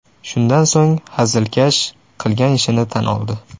Shundan so‘ng hazilkash qilgan ishini tan oldi.